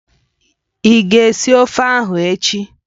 Ị ga esi ofe ahụ echi?